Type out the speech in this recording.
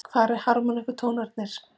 Hvar eru harmónikkutónarnir?